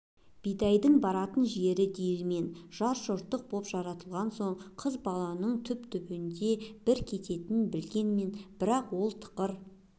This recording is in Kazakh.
бидайдың баратын жері диірмен жат жұрттық болып жаратылған соң қыз баланың түптің-түбінде бір кетерін білгенмен бірақ ол тықыр